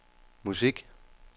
musik